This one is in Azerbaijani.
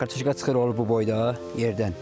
Kartoşka çıxır, olur bu boyda yerdən.